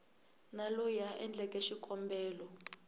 na loyi a endleke xikombelo